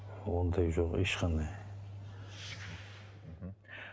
ондай жоқ ешқандай мхм